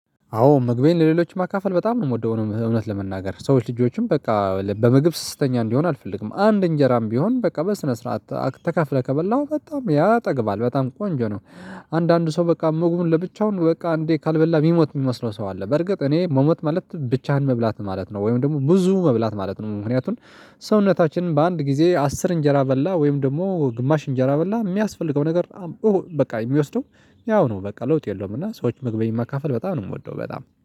አዎ ምግቤን ለሌሎች ማካፈል በጣም ነው የምወደው እውነት ለመናገር ሰዎች ልጆችም በቃ በምግብ ስስተኛ እንዲሆን አልፈልግም አንድ እንጀራም ቢሆን በቃ በስነ ስርዓት ተካፍለህ ከበላህ በጣም ያጠግባል በጣም ቆንጆ ነው። አንዳንድ ሰው በቃ ምግቡን ለብቻው በቃ እንዴ ካልበላ የሚሞት የሚመስለው ሰው አለ። በርግጥ እኔ መሞት ማለት ብቻህን መብላት ማለት ነው ወይም ደግሞ ብዙ መብላት ማለት ነው። ምክንያቱም ሰውነታችን በአንድ ጊዜ አስር እንጀራ በላ ወይም ደግሞ ግማሽ እንጀራ በላ የሚያስፈልገው ነገር። በቃ የሚወስደው ያው ነው በቃ ለውጥ የለውም። እና ሰዎች ምግቤን ማካፈል በጣም ነው የምወደው በጣም